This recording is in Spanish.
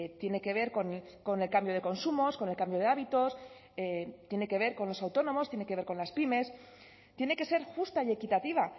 tiene que ver con el cambio de consumos con el cambio de hábitos tiene que ver con los autónomos tiene que ver con las pymes tiene que ser justa y equitativa